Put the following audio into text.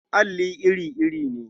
Alli iri-iri ne.